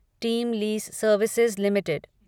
team lease Services limited